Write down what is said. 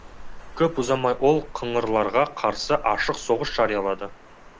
көп ұзамай ол қыңырларға қарсы ашық соғыс жариялады